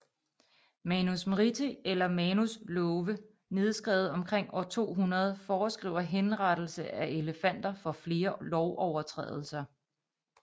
Manusmriti eller Manus Love nedskrevet omkring år 200 foreskriver henrettelse af elefanter for flere lovovertrædelser